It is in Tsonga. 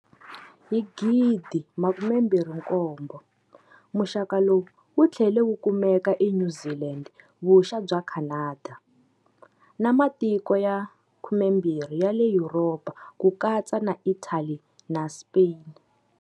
Hi 2007, muxaka lowu wutlhele wu kumeka eNew Zealand Vuxa bya Canada, na matiko ya 12 ya le Yuropa ku katsa na Italy na Spain.